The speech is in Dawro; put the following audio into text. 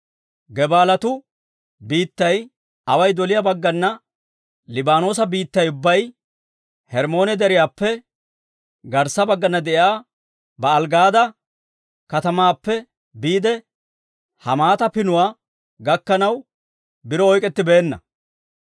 Gebaalatu biittay away doliyaa baggana Liibaanoosa biittay ubbay, Hermmoone Deriyaappe garssa baggana de'iyaa Ba'aali-Gaada katamaappe biide, Hamaata Pinuwaa gakkanaw biro oyk'k'ettibeenna.